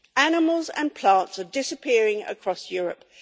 Animals and plants are disappearing across Europe.